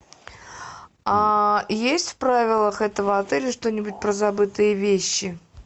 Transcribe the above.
а есть в правилах этого отеля что нибудь про забытые вещи